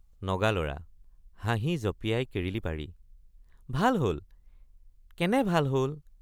নগালৰা— হাঁহি জঁপিয়াই কিৰিলি পাৰি ভাল হল কেনে ভাল হল!